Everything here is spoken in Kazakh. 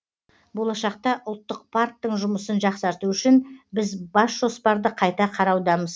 болашақта ұлттық парктің жұмысын жақсарту үшін біз бас жоспарды қайта қараудамыз